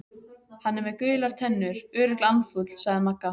Hann er með gular tennur, örugglega andfúll sagði Magga.